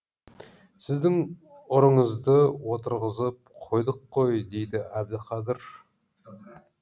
сіздің ұрыңызды отырғызып қойдық қой дейді әбдіқадыр